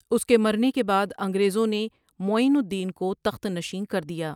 اس کے مرنے کے بعد انگریزوں نے معین الدین کو تخت نشین کر دیا ۔